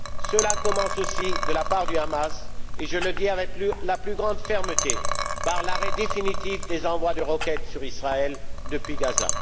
Cela commence aussi, pour le Hamas et je le dis avec la plus grande fermeté par l'arrêt définitif des envois de roquettes sur Israël depuis Gaza.